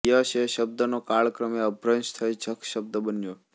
યક્ષ એ શબ્દનો કાળક્રમે અપભ્રંશ થઈ જખ શબ્દ બન્યો